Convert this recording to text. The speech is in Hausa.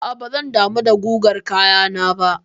A'a bazan damu da gugar kayana ba.